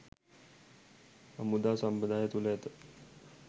හමුදා සම්ප්‍රදාය තුළ ඇත